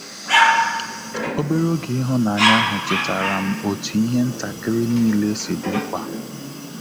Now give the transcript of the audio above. Obere oge ịhụnanya ahụ chetara m otu ihe ntakịrị n'ile si dị mkpa